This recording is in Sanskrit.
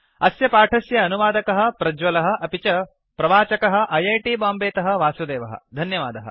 अस्य पाठस्य अनुवादकः प्रज्वलः अपि च प्रवाचकः ऐ ऐ टी बाम्बे तः वासुदेवः धन्यवादः